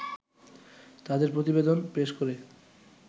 তাদের প্রতিবেদন পেশ করে